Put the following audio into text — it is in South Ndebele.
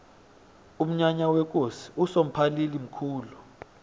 umnyanya wekosi usomphalili mkhulu